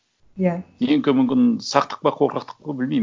иә менікі мүмкін сақтық па қорқақтық па білмеймін